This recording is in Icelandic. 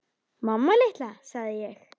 Mamma litla, sagði ég.